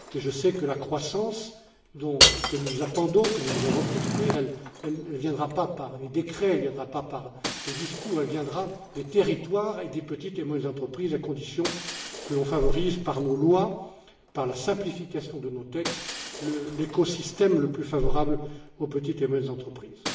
Je sais que la croissance que nous attendons, que nous devons reconstruire, ne viendra ni par les décrets, ni par les discours, mais des territoires et des petites et moyennes entreprises, à condition que l'on favorise par nos lois, par la simplification de nos textes, l'écosystème le plus favorable aux petites et moyennes entreprises.